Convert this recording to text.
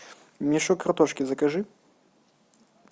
мешок картошки закажи